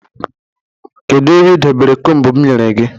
Kedụ ebe ị dobere kombu m nyere gị?